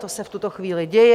To se v tuto chvíli děje.